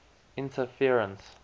interference